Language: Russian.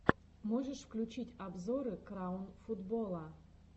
можешь включить обзоры краун футбола